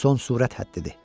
Son sürət həddidir.